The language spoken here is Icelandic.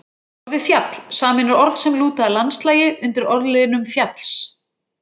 Orðið fjall sameinar orð sem lúta að landslagi undir orðliðnum fjalls-